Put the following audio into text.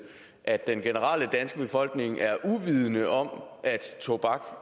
at den danske befolkning generelt er uvidende om at tobak